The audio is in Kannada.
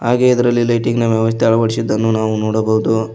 ಹಾಗೆ ಇದರಲ್ಲಿ ಲೈಟಿಂಗ್ ನ ಅಳವಡಿಸಿದ್ದನ್ನು ನಾವು ನೋಡಬಹುದು.